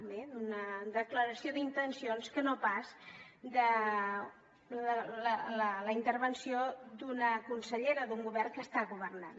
bé d’una declaració d’intencions que no pas de la intervenció d’una consellera d’un govern que està governant